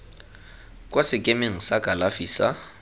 kwa sekemeng sa kalafi sa